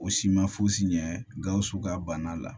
O si ma fosi ɲɛ gawusu ka bana la